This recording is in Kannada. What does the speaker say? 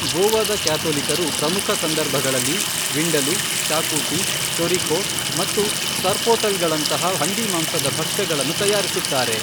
ಗೋವಾದ ಕ್ಯಾಥೊಲಿಕರು ಪ್ರಮುಖ ಸಂದರ್ಭಗಳಲ್ಲಿ ವಿಂಡಲೂ, ಶಾಕೂತಿ, ಚೊರಿಕೋ ಮತ್ತು ಸರ್ಪೊಟೆಲ್ಗಳಂತಹ ಹಂದಿಮಾಂಸದ ಭಕ್ಷ್ಯಗಳನ್ನು ತಯಾರಿಸುತ್ತಾರೆ.